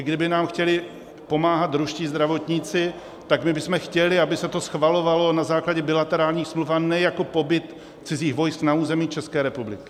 I kdyby nám chtěli pomáhat ruští zdravotníci, tak my bychom chtěli, aby se to schvalovalo na základě bilaterálních smluv, a ne jako pobyt cizích vojsk na území České republiky.